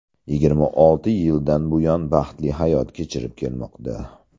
Yigirma olti yildan buyon baxtli hayot kechirib kelmoqda.